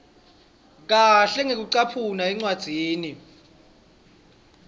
kahle ngekucaphuna encwadzini